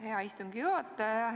Hea istungi juhataja!